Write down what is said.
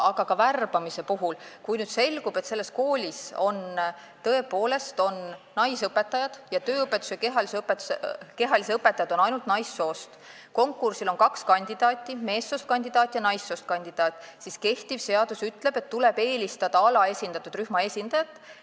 Aga kui värbamise puhul selgub, et selles koolis on tööõpetuse ja kehalise kasvatuse õpetajad kõik naissoost ning konkursil on kaks kandidaati, meessoost kandidaat ja naissoost kandidaat, siis kehtiv seadus ütleb, et tuleb eelistada alaesindatud rühma esindajat.